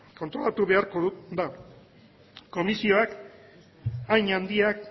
kontrolatu beharko da komisioak hain handiak